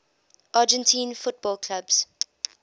argentine football clubs